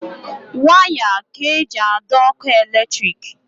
Waya ka eji adọ ọkụ eletrik.